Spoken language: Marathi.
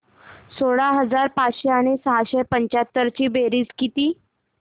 सोळा हजार पाचशे आणि सहाशे पंच्याहत्तर ची बेरीज किती